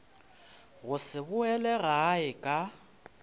go se boele gae ka